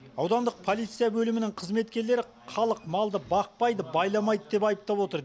аудандық полиция бөлімінің қызмектерлері халық малды бақпайды байламайды деп айыптап отыр